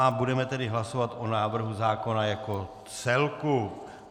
A budeme tedy hlasovat o návrhu zákona jako celku.